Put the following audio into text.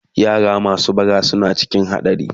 yara masu bara na cikin hadari